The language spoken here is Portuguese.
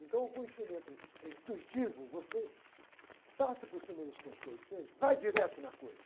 Então o conhecimento, eh, intuitivo, você passa por cima dos conceitos, você vai direto na coisa.